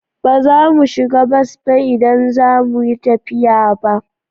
Ba za mu shiga bas ba idan za mu yi tafiya ba.